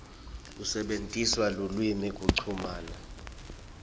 kusebentisa lulwimi kuchumana